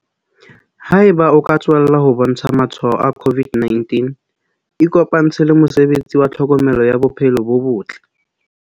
Haeba o ka tswella ho bontsha matshwao a COVID-19 ikopantshe le mosebetsi wa tlhokomelo ya bophelo bo botle.